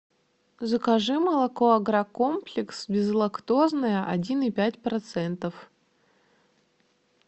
закажи молоко агрокомплекс безлактозное один и пять процентов